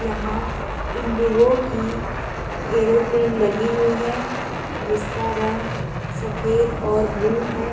यहाँ इंडिगो की एयरोप्लेन लगी हुई है। जिसका रंग सफ़ेद और ब्लू है।